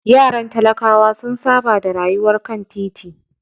Yaran talakawa sun saba da rayuwar kan titi.